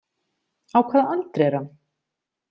Á hvaða aldri er hann?